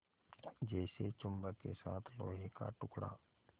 जैसे चुम्बक के साथ लोहे का टुकड़ा